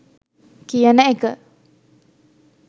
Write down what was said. කියන එක.